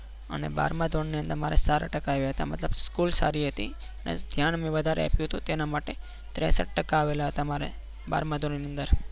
અને બારમા ધોરણની અંદર મારે સારા ટકા આવ્યા હતા મતલબ સ્કૂલ સારી હતી ધ્યાન મેં વધારે આપ્યું હતું તેના માટે ત્રેસત ટકા આવેલા હતા મારે બારમા ધોરણની અંદર